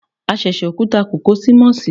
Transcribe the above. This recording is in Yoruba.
A sẹsẹ okuta kó ko si Mossi